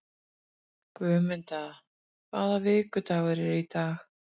Guðmunda, hvaða vikudagur er í dag?